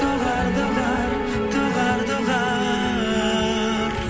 доғар доғар доғар доғар